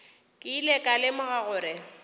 ke ile ka lemoga gore